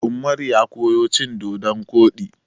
Ummaru ya koyo cin dodon koɗi.